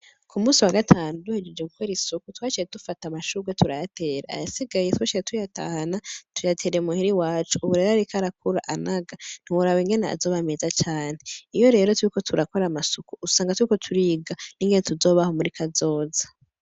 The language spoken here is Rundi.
k'umunsi wa gatanu duhejeje gukora isuku twaciye dufata amashurwe turayatera ayasigaye twaciye tuyatahana tuyatera i muhira iwacu. Ubu rero ariko arakura anaga ntiworaba ingene azoba meza cane. Iyo rero turiko turakora amasuku usanga turiko turiga ingene tuzobaho muri kazoza.